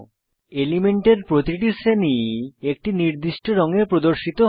এলিমেন্টের প্রতিটি শ্রেণী একটি নির্দিষ্ট রঙে প্রদর্শিত হয়